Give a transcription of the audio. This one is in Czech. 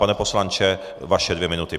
Pane poslanče, vaše dvě minuty.